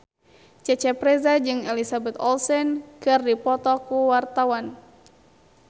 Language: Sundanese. Cecep Reza jeung Elizabeth Olsen keur dipoto ku wartawan